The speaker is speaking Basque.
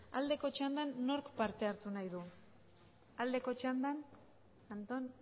aldeko txandan nork parte hartu nahi du aldeko txandan anton